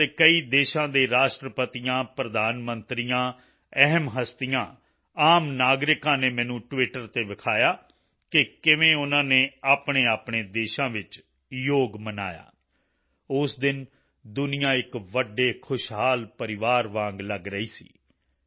ਦੁਨੀਆ ਦੇ ਕਈ ਦੇਸ਼ਾਂ ਦੇ ਰਾਸ਼ਟਰਪਤੀਆਂ ਪ੍ਰਧਾਨ ਮੰਤਰੀਆਂ ਅਹਿਮ ਹਸਤੀਆਂ ਆਮ ਨਾਗਰਿਕਾਂ ਨੇ ਮੈਨੂੰ ਟਵਿਟਰ ਤੇ ਵਿਖਾਇਆ ਕਿ ਕਿਵੇਂ ਉਨ੍ਹਾਂ ਨੇ ਆਪਣੇਆਪਣੇ ਦੇਸ਼ਾਂ ਵਿੱਚ ਯੋਗ ਮਨਾਇਆ ਉਸ ਦਿਨ ਦੁਨੀਆ ਇੱਕ ਵੱਡੇ ਖੁਸ਼ਹਾਲ ਪਰਿਵਾਰ ਵਾਂਗ ਲਗ ਰਹੀ ਸੀ